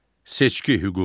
Seçki hüququ.